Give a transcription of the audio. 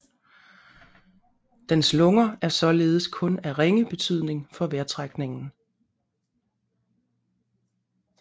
Dens lunger er således kun af ringe betydning for vejrtrækningen